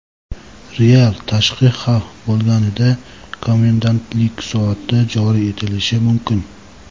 Real tashqi xavf bo‘lganida komendantlik soati joriy etilishi mumkin.